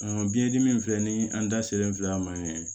biyɛndimi filɛ ni an da selen filɛ a ma